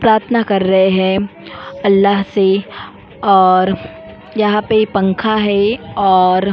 प्रार्थना कर रहे हैं अल्लाह से और यहां पे पंखा है और --